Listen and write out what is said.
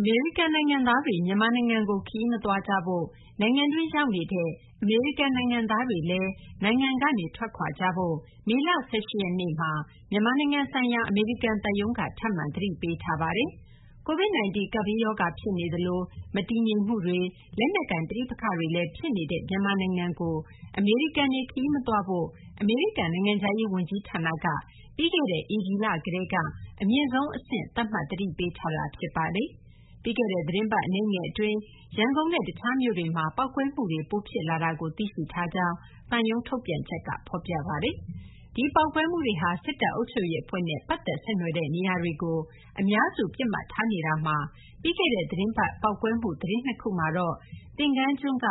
အမေရိကန် နိုင်ငံသားတွေ မြန်မာနိုင်ငံကို ခရီးမသွားကြဖို့၊ နိုင်ငံတွင်း ရောက်နေကြတဲ့ အမေရိကန် နိုင်ငံသားတွေလည်း နိုင်ငံကနေ ထွက်ခွာကြဖို့ မေလ ၁၈ ရက်နေ့မှာ မြန်မာနိုင်ငံဆိုင်ရာ အမေရိကန် သံရုံးက ထပ်မံ သတိပေးထားပါတယ်။ COVID- 19 ကပ်ဘေးရောဂါ ဖြစ်နေသလို မတည်ငြိမ်မှုတွေ၊ လက်နက်ကိုင် ပဋိပက္ခတွေလည်း ဖြစ်နေတဲ့ မြန်မာနိုင်ငံကို အမေရိကန်တွေ ခရီးမသွားဖို့ အမေရိကန် နိုင်ငံခြားရေး ဝန်ကြီးဌာနက ပြီးခဲ့တဲ့ ဧပြီလ ကတည်းက အမြင့်ဆုံး အဆင့်သတ်မှတ် သတိပေးထားတာ ဖြစ်ပါတယ်။ ပြီးခဲ့တဲ့ သတင်းပတ် အနည်းငယ် အတွင်း ရန်ကုန်နဲ့ တခြားမြို့တွေမှာ ပေါက်ကွဲမှုတွေ ပိုဖြစ်လာတာကို သိရှိထားကြောင်း သံရုံးထုတ်ပြန်ချက်မှာ ဖော်ပြပါတယ်။ ဒီပေါက်ကွဲမှုတွေဟာ စစ်တပ် အုပ်ချုပ်ရေး အဖွဲ့နဲ့ ပတ်သက်ဆက်နွယ်တဲ့ နေရာတွေကို အများစု ပစ်မှတ်ထားနေတာမှာ ပြီးခဲ့ သီတင်းပတ်တုန်းကတော့ ပေါက်ကွဲမှု သတင်း ၂ ခုမှာတော့ သင်္ဃန်းကျွန်းက